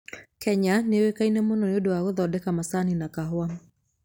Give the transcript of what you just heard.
Kenya nĩ yũĩkaine mũno nĩ ũndũ wa gũthondeka macani na kahũa.